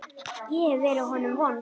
Ég hef verið honum vond.